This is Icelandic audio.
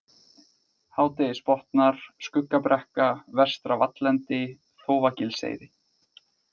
Hádegisbotnar, Skuggabrekka, Vestra-Vallendi, Þófagilseyri